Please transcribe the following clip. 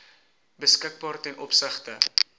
beskikbaar ten opsigte